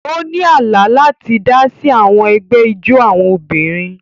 O ni àlá láti ti idasi si àwọn ègbé ijó àwọn obìnrin.